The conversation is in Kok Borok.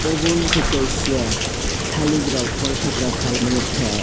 obo ungkha kaisa thalik rok pbolphukra phalmani thai.